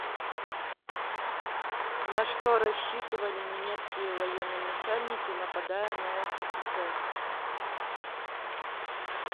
на что рассчитывали немецкие военноначальники нападая на ссср